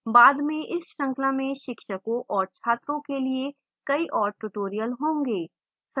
बाद में इस श्रृंखला में शिक्षकों और छात्रों के लिए कई और tutorials होंगे